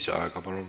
Palun lisaaega!